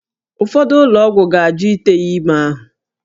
Ụfọdụ ụlọ ọgwụ ga-ajụ ite ya ime ahụ